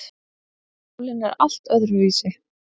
Sálin er allt öðruvísi.